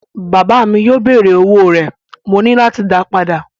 Bàbá mi yóò béèrè fún owó rẹ̀, mo ní láti dáa padà.